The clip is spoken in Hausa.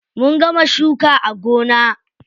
Mun gama shuka a gona.